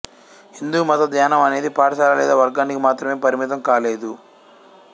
హిందూమత ధ్యానం అనేది పాఠశాల లేదా వర్గానికి మాత్రమే పరిమితం కాలేదు